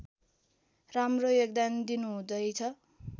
राम्रो योगदान दिनुहुँदैछ